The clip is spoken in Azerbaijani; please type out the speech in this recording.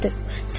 Təsadüf.